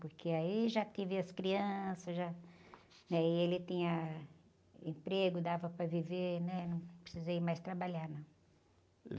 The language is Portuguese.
Porque aí já tive as crianças, já, né? E ele tinha emprego, dava para viver, né? Não precisei mais trabalhar, não.